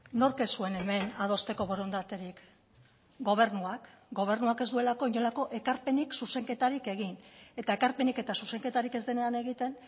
nork ez zuen hemen adosteko borondaterik gobernuak gobernuak ez duelako inolako ekarpenik zuzenketarik egin eta ekarpenik eta zuzenketarik ez denean egiten